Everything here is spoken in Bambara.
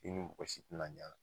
I ni mɔgɔ si ti na ɲ'ala